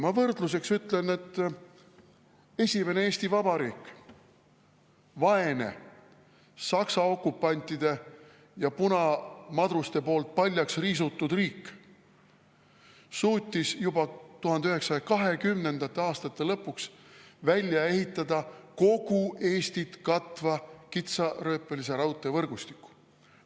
Ma võrdluseks ütlen, et esimene Eesti Vabariik, vaene, Saksa okupantide ja punamadruste poolt paljaks riisutud riik, suutis juba 1920. aastate lõpuks välja ehitada kogu Eestit katva kitsarööpmelise raudtee võrgustiku.